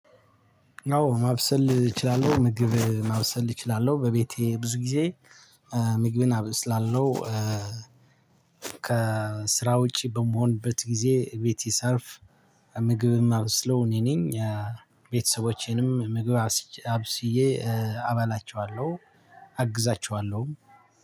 አዎ ማብሰል እችላለሁ። ምግብ ማብሰል እችላለሁ በቤቴ ብዙ ጊዜ ምግብን አበስላለሁ። ከስራ ውጪ በምሆንበት ጊዜ እቤቴ ሳርፍ ምግብ ማበስለው እኔ ነኝ። ቤተሰቦቼንም ምግብ አብስዬ አብስዬ አበላቸዋለሁ አግዛቸዋለሁም።